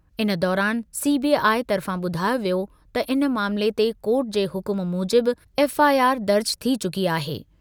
इन दौरान सीबीआई तर्फ़ां ॿुधायो वियो त इन मामले ते कोर्ट जे हुकुम मूजिबि एफ़आईआर दर्ज थी चुकी आहे।